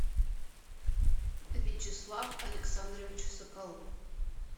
вячеслав александрович соколов